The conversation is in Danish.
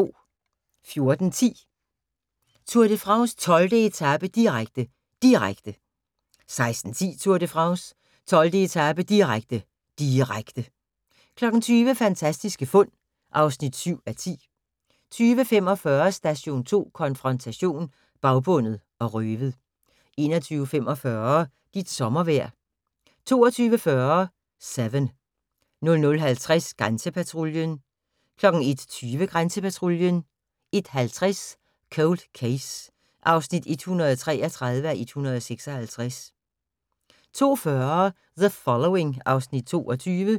14:10: Tour de France: 12. etape, direkte, direkte 16:10: Tour de France: 12. etape, direkte, direkte 20:00: Fantastiske fund (7:10) 20:45: Station 2 konfrontation: Bagbundet og røvet 21:45: Dit sommervejr 22:40: Seven 00:50: Grænsepatruljen 01:20: Grænsepatruljen 01:50: Cold Case (133:156) 02:40: The Following (Afs. 22)